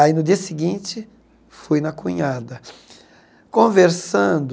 Aí, no dia seguinte, fui na cunhada conversando